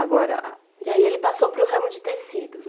Agora, e aí ele passou para o ramo de tecidos?